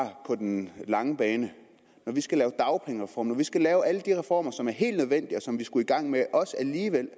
på den lange bane når vi skal lave dagpengereform når vi skal have alle de reformer som er helt nødvendige og som vi skulle i gang med alligevel